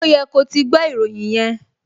Ó yẹ ko ti gbọ́ ìròyìn yẹn!